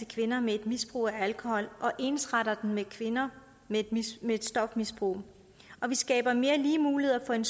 kvinder med et misbrug af alkohol og ensretter den med kvinder med et stofmisbrug vi skaber mere lige muligheder for en